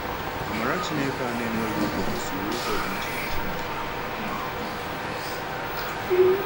“Amara Chineke a na-enweghị ụgwọ gosiri ụzọ dị iche iche.”